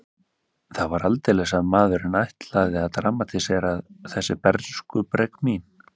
Það var aldeilis að maðurinn ætlaði að dramatísera þessi bernskubrek mín.